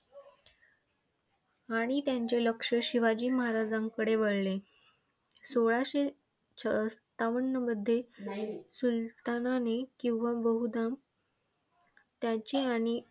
आणि त्यांचे लक्ष शिवाजी महाराजांकडे वळले. सोळाशे सत्तावन्नमध्ये सुलतानाने किंवा बहुधा त्याची हानी